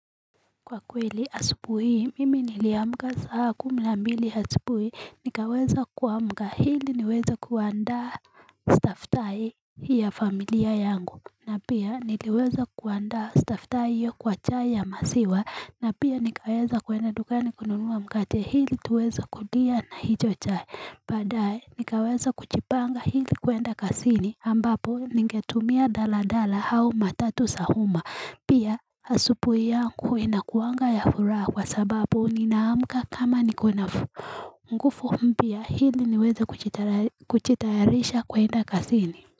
Kwa kweli asupuhii mimi niliamka saa kumi na mbili asupu hii nikaweza kuamga hili niweza kuandaa staftai ya familia yangu na pia niliweza kuandaa staff tae hiyo kwa chae ya masiwa na pia nikaweza kwenda dugani kunuluwa mkache hili tuweza kulia na hijo chai badaye nikaweza kuchipanga hili kuenda kasini ambapo ningetumia daladala hau matatu sa umma pia asupu yangu inakuanga ya fura kwa sababu ninaamka kama nikuna ngufu mpia hili niweze kuchitayarisha kwa inda kasini.